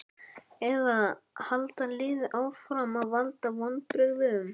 Eða halda liðin áfram að valda vonbrigðum?